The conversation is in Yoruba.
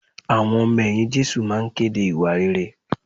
Àwọn ọmọ ẹ̀yìn Jésù máa kéde ìwà rere